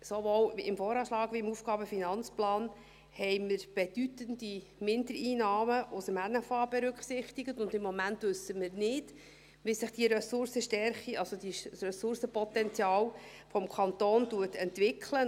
Sowohl im VA als auch im AFP haben wir bedeutende Mindereinnahmen aus dem Nationalen Finanzausgleich (NFA) berücksichtigt, und im Moment wissen wir nicht, wie sich diese Ressourcenstärke, also dieses Ressourcenpotenzial des Kantons entwickelt.